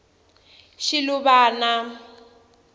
shiluvana